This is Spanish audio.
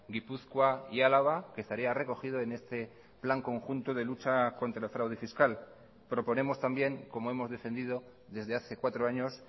gipuzkoa y álava que estaría recogido en este plan conjunto de lucha contra el fraude fiscal proponemos también como hemos defendido desde hace cuatro años